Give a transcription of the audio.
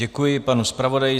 Děkuji panu zpravodaji.